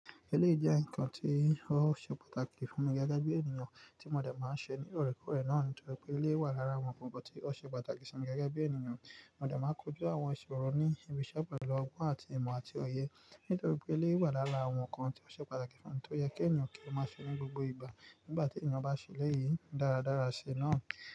Eléyii jẹ́ nnkan tí ó ṣe pàtàkì fún mi gẹ́gẹ́ bí ènìyàn tí mo dẹ̀ máa ń ṣe ní òrèkóòrè náà, nítorí pé eleyii wà lára àwọn nnkan tí ó ṣe pàtàkì sí mi gẹ́gẹ́ bí ènìyàn. Mo dẹ̀ máa ń kojú àwọn ìṣòro ní ibiṣẹ́ pẹ̀lú ọgbọ́n àti ìmọ̀ àti òye. Nítorí pé eléyii wà lára àwọn nnkan tí ó ṣe pàtàkì sí mi, tó yẹ kí ènìyàn kí o máa ṣe ní gbogbo ìgbà. Nígbà tí ènìyàn bá ṣe eleyìí dáradára ṣe náà.